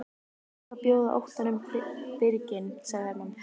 Það er best að bjóða óttanum birginn, sagði Hermann.